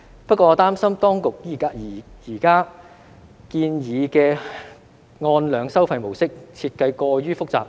不過，我擔心當局現時建議的按量收費模式，設計過於複雜。